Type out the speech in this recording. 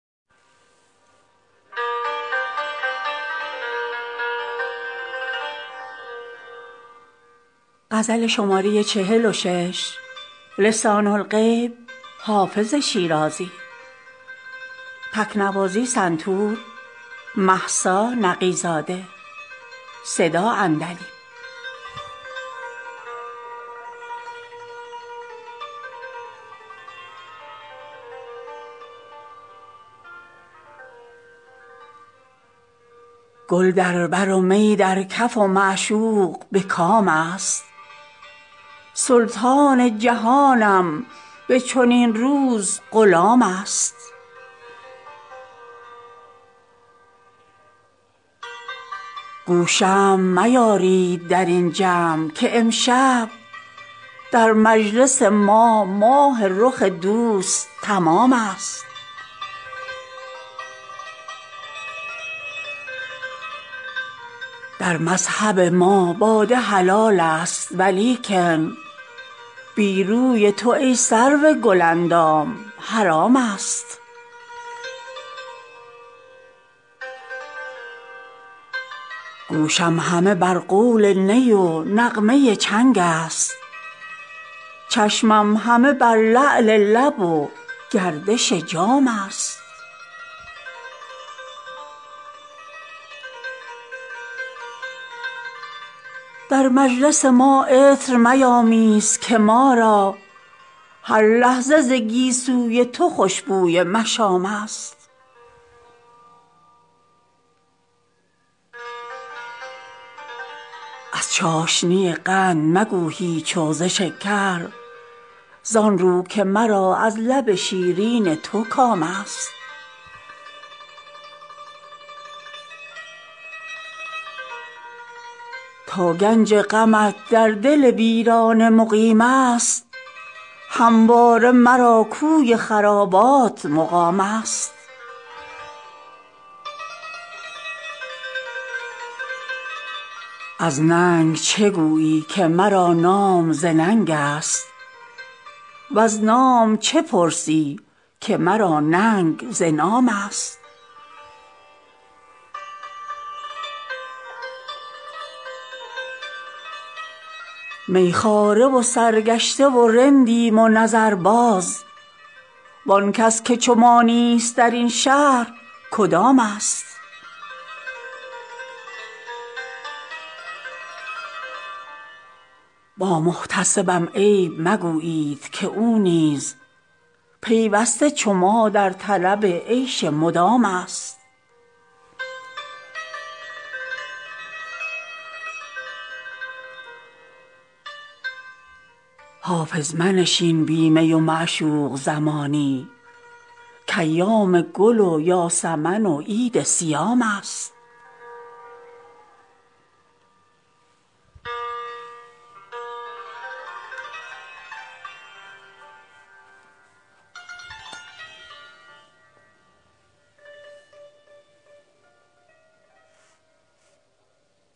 گل در بر و می در کف و معشوق به کام است سلطان جهانم به چنین روز غلام است گو شمع میارید در این جمع که امشب در مجلس ما ماه رخ دوست تمام است در مذهب ما باده حلال است ولیکن بی روی تو ای سرو گل اندام حرام است گوشم همه بر قول نی و نغمه چنگ است چشمم همه بر لعل لب و گردش جام است در مجلس ما عطر میامیز که ما را هر لحظه ز گیسو ی تو خوش بوی مشام است از چاشنی قند مگو هیچ و ز شکر زآن رو که مرا از لب شیرین تو کام است تا گنج غمت در دل ویرانه مقیم است همواره مرا کوی خرابات مقام است از ننگ چه گویی که مرا نام ز ننگ است وز نام چه پرسی که مرا ننگ ز نام است می خواره و سرگشته و رندیم و نظرباز وآن کس که چو ما نیست در این شهر کدام است با محتسبم عیب مگویید که او نیز پیوسته چو ما در طلب عیش مدام است حافظ منشین بی می و معشوق زمانی کایام گل و یاسمن و عید صیام است